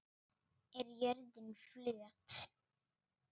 Er jörðin flöt?